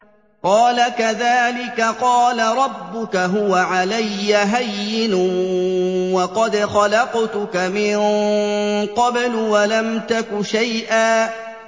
قَالَ كَذَٰلِكَ قَالَ رَبُّكَ هُوَ عَلَيَّ هَيِّنٌ وَقَدْ خَلَقْتُكَ مِن قَبْلُ وَلَمْ تَكُ شَيْئًا